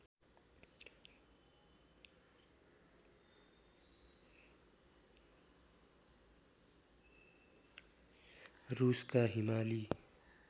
रुसका हिमाली